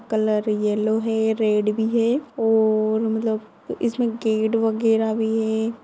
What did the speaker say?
Colour yellow है। Red भी है और मतलब इसमे गेट वगैरा भी है।